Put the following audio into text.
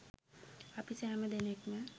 අපි සෑම දෙනෙක්ම